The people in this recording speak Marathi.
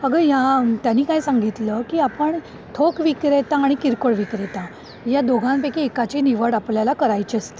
अगं ह्या त्यांनी काय सांगितलं की आपण ठोक विक्रेता आणि किरकोळ विक्रेता या दोघांपैकी एकाची निवड आपल्याला करायची असते.